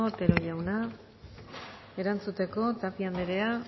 otero jauna erantzuteko tapia anderea